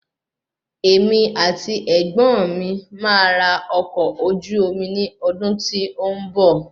Emi àti ẹ̀gbọ́n mi máa ra ọkọ̀ ojú omi ní ọdún tí ó ń bọ̀